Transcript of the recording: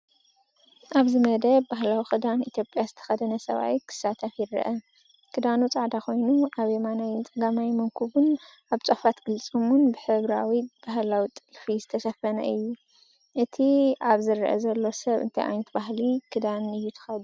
ኣብዚ መደብ ባህላዊ ክዳን ኢትዮጵያ ዝተኸድነ ሰብኣይ ክሳተፍ ይረአ። ክዳኑ ጻዕዳ ኮይኑ ኣብ የማናይን ጸጋማይን መንኵቡን ኣብ ጫፋት ቅልጽሙን ብሕብራዊ ባህላዊ ጥልፊ ዝተሸፈነ እዩ። እቲ ኣብ ዝረአ ዘሎ ሰብ እንታይ ዓይነት ባህላዊ ክዳን እዩ ተኸዲኑ ዘሎ?